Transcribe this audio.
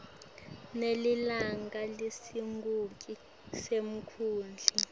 nelilunga lesigungu semkhandlu